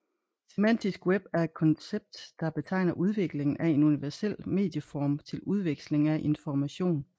Semantisk web er et koncept der betegner udviklingen af en universel medieform til udveksling af information